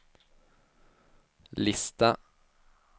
lista